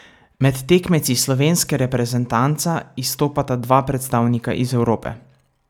Med tekmeci slovenske reprezentanca izstopata dva predstavnika iz Evrope.